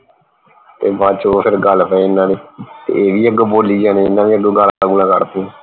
ਤੇ ਬਾਅਦ ਚੋ ਉਹ ਫਿਰ ਗੱਲ ਪਏ ਇਹਨਾਂ ਦੇ ਇਹ ਵੀ ਅੱਗੋਂ ਬੋਲੀ ਜਾਣ ਇਹਨਾਂ ਅੱਗੋਂ ਗਾਲਾਂ ਗੁਲਾਂ ਕੱਢ ਤੀਆਂ